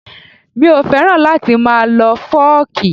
Mi ò fẹ́ràn láti máa lọ fọ́ọ̀kì